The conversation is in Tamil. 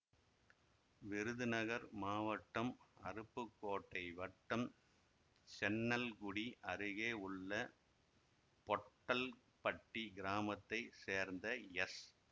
விருதுநகர் மாவட்டம் அருப்புக்கோட்டை வட்டம் சென்னல்குடி அருகே உள்ள பொட்டல்பட்டி கிராமத்தை சேர்ந்த எஸ்